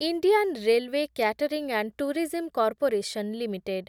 Indian railway catering and tourism corporation limited